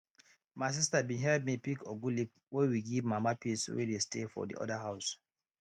my sister bin help me pick ugu leaf wey we give mama peace wey dey stay for de other house